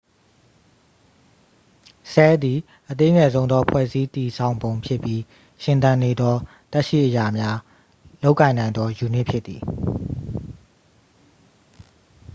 ဆဲလ်သည် အသေးငယ်ဆုံးသော ဖွဲ့စည်းတည်ဆောင်ပုံဖြစ်ပြီးရှင်သန်နေသော သက်ရှိအရာများ လုပ်ကိုင်နိုင်သော ယူနစ်ဖြစ်သည်။